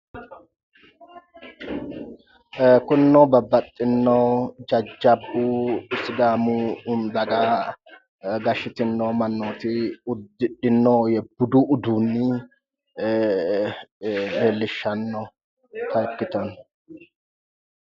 Kunino babbaxxino jajjabbu sidaamu daga gashitino mannoti uddidhino budu uduunni leellishannota ikkitanno